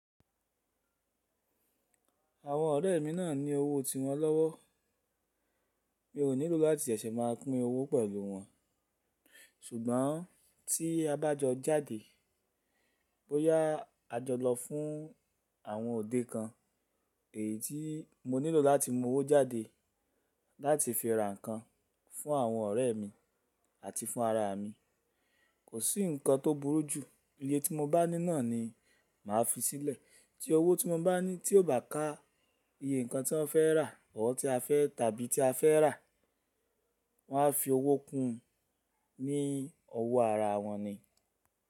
Àwọn ọ̀rẹ́ mi náà ní owó tiwọn lọ́wọ́. Mi ò nílò láti ṣẹ̀ṣẹ̀ máa pín owó pẹ̀lú wọn. Ṣùgbọ́n tí a bá jọ jáde, bóyá a jọ lọ fún àwọn òde kan, èyí tí mo nílò láti mú owó jáde láti fi ra nǹkan fún àwọn ọ̀rẹ́ mi àti fún ara mi. Kò sí nǹkan tó burú jù. Iyé tí mo bá ní náà ni màá fi sílẹ̀. Tí owó tí mo bá ní tí ò bá ká iye nǹkan tí wọ́n fẹ́ rà bọ̀wọ̀ tí a fẹ́ tàbí tí a fẹ́ rà, wọ́n á fi owó kún un ní ọwọ́ ara wọn ni.